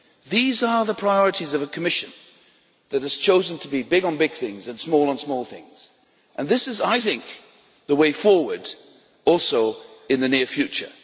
These are the priorities of a Commission that has chosen to be big on big things and small on small things, and this is also the way forward in the near future.